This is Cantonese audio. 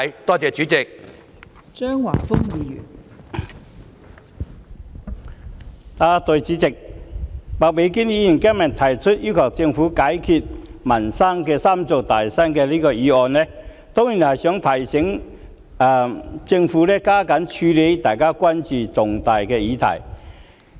代理主席，麥美娟議員今天提出"要求政府解決民生'三座大山'"的議案，當然是想提醒政府加緊處理大家關注的重大議題。